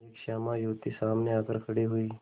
एक श्यामा युवती सामने आकर खड़ी हुई